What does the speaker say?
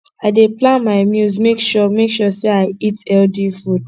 i dey plan my meals make sure make sure sey i eat healthy food